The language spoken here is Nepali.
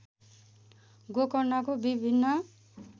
गोकर्णको विभिन्न